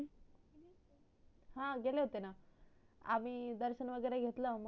हा गेले होते ना आम्ही दर्शन वगरे घेतलं मग